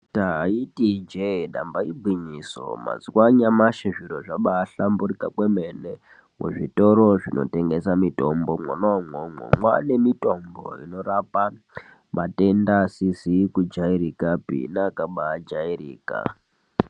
Taita ijee, damba igwinyiso! mazuwa anyamashi zviro zvaba ahlamburuka kwemene muzvitoro zvinotengesa mutombo, mwona imwomwo mwaane mitombo inorape matenda akajairika neasikazi kubaajairika.